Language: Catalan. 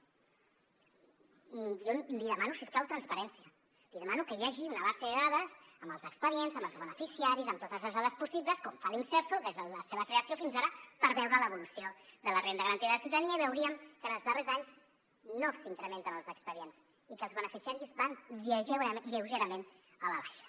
jo li demano si us plau transparència li demano que hi hagi una base de dades amb els expedients amb els beneficiaris amb totes les dades possibles com fa l’imserso des de la seva creació fins ara per veure l’evolució de la renda garantida de ciutadania i veuríem que en els darrers anys no s’incrementen els expedients i que els beneficiaris van lleugerament a la baixa